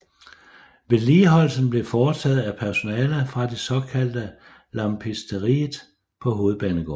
Vedligeholdelsen blev foretaget af personale fra det såkaldte Lampisteriet på Hovedbanegården